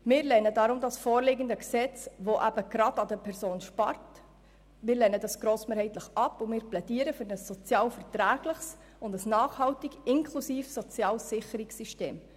Deshalb lehnen wir das vorliegende Gesetz, welches an den Personen sparen will, grossmehrheitlich ab und plädieren für ein sozialverträgliches und nachhaltig inklusives soziales Sicherungssystem.